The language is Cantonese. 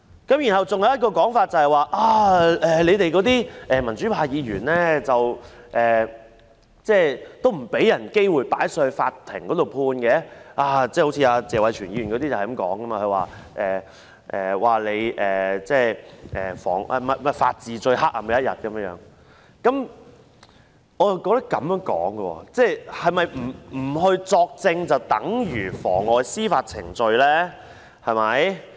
還有一種說法是，我們這些民主派議員不讓人家有機會交由法院判決，例如謝偉銓議員說，這是法治最黑暗的一天云云，但我又認為，不作證是否便等於妨礙司法程序呢？